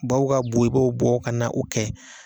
Baw ka bɔ i b'o bɔ ka na u kɛ